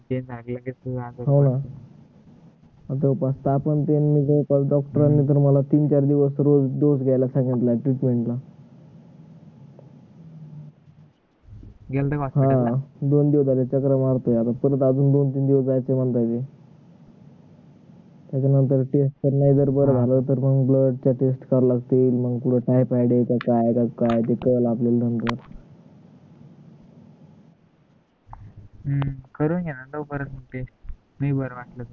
हम्म करून घे न तोपर्यंत ते ये नाई बर वाटल तर